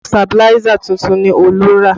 Sabiláísà tuntun ni Olú rà